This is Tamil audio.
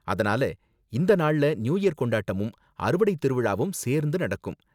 அதனால இந்த நாள்ல நியூ இயர் கொண்டாட்டமும், அறுவடை திருவிழாவும் சேர்ந்து நடக்கும்.